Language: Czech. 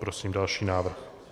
Prosím další návrh.